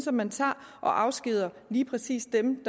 at man tager og afskediger lige præcis dem